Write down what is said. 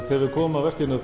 þegar við komum að verkinu